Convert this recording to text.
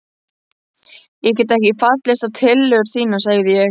Ég get ekki fallist á tillögur þínar sagði ég.